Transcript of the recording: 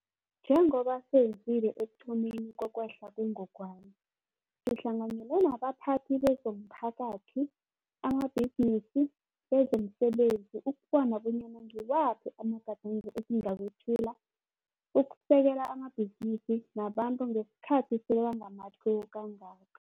Njengoba senzile ekuthomeni kokwehla kwengogwana, sihlanganyele nabaphathi bezomphakathi, amabhizinisi, bezomsebenzi ukubona bonyana ngiwaphi amagadango esingawethula ukusekela amabhizinisi nabantu ngesikhathi sebangamatlhuwo kangaka.